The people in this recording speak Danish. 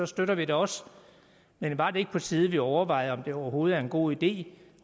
støtter vi det også men var det ikke på tide vi overvejede om det overhovedet er en god idé